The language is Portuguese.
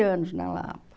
anos na Lapa.